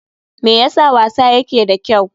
Me yasa wasa yake da kyau?